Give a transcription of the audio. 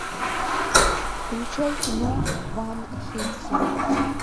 включай кино ван хельсинг